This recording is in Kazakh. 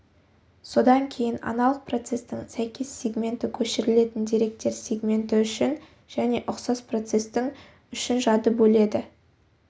содан кейін аналық процестің сәйкес сегменті көшірілетін деректер сегменті үшін және ұқсас процестің үшін жады бөледі